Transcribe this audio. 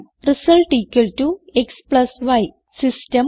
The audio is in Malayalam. Result xy system